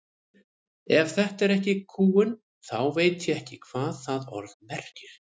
Ef þetta er ekki kúgun þá veit ég ekki hvað það orð merkir.